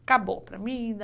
Acabou para mim.